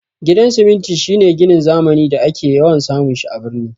Gidan siminti shine ginin zamani da ake yawan samun shi a birni